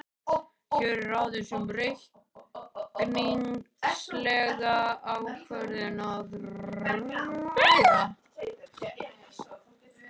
Hér er aðeins um reikningslega ákvörðun að ræða.